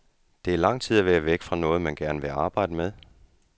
Det er lang tid at være væk fra noget, man gerne vil arbejde med.